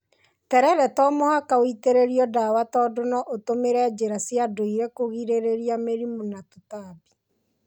Terere to mũhaka wĩitĩrĩrio ndawa tondũ no ũtũmĩre njĩra cia ndũire kũrigĩrĩria mĩrimũ na tũtambi.